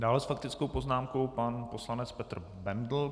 Dále s faktickou poznámkou pan poslanec Petr Bendl.